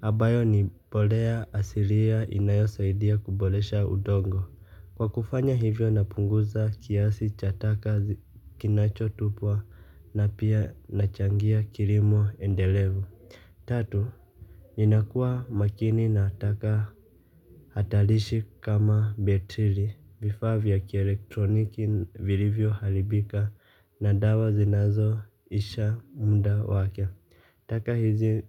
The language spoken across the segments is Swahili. ambayo ni mbolea asilia inayosaidia kuboresha udongo. Kwa kufanya hivyo napunguza kiasi cha taka kinachotupwa na pia nachangia kilimo endelevu. Tatu, ninakuwa makini na taka hatarishi kama betiri vifaa vya kielektroniki vilivyo haribika na dawa zinazoisha muda wake. Taka hizi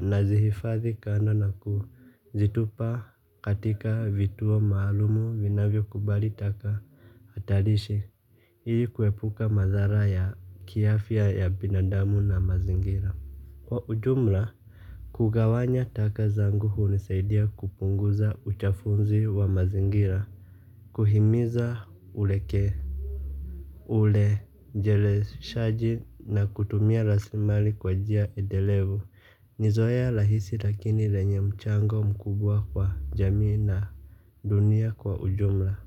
nazihifadhi kando na kuzitupa katika vituo maalumu vinavyokubali taka hatarishi ili kuepuka madhara ya kiafya ya binadamu na mazingira. Kwa ujumla kugawanya taka zangu hunisaidia kupunguza uchafuzi wa mazingira. Kuhimiza uleke urejeleshaji na kutumia rasilimali kwa njia endelevu. Ni zoea rahisi lakini lenye mchango mkubwa kwa jamii na dunia kwa ujumla.